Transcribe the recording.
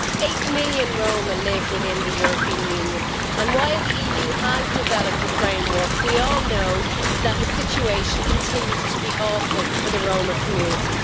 Eight million Roma live within the European Union, and while the EU has developed a framework, we all know that the situation continues to be awful for the Roma community.